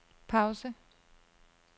pause